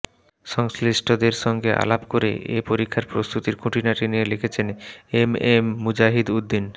সংশ্লিষ্টদের সঙ্গে আলাপ করে এ পরীক্ষার প্রস্তুতির খুঁটিনাটি নিয়ে লিখেছেন এম এম মুজাহিদ উদ্দীন